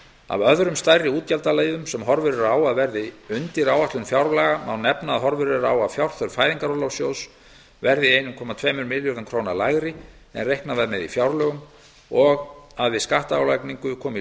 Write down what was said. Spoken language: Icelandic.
af öðrum stærri útgjaldaliðum sem horfur eru á að verði undir áætlunum fjárlaga má nefna að horfur eru á að fjárþörf fæðingarorlofssjóðs verði einn komma tveimur milljörðum króna lægri en reiknað var með í fjárlögum og að við skattálagningu kom í